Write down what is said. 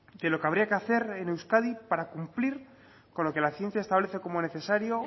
de lo que habría que hacer en euskadi para cumplir con lo que la ciencia establece como necesario